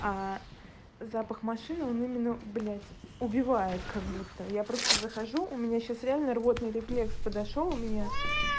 запах машины он именно блять убивает как будто я просто захожу у меня сейчас реально рвотный рефлекс подошёл у меня